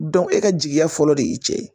e ka jigiya fɔlɔ de ye i cɛ ye